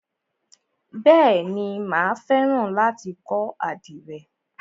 Bèéni, mà á fẹ́ràn láti kọ́ àdìrẹ.